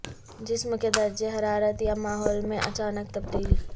جسم کے درجہ حرارت یا ماحول میں اچانک تبدیلی